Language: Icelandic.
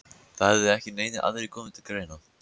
Það hefði ekki neinir aðrir komið til greina?